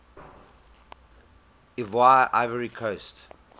ivoire ivory coast